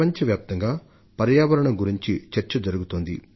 ఆ రోజున ప్రపంచవ్యాప్తంగా పర్యావరణం గురించి చర్చ జరుగుతుంది